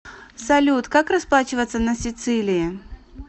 салют как расплачиваться на сицилии